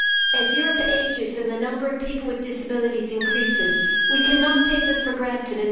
As Europe ages and the number of people with disabilities increases, we cannot take them for granted.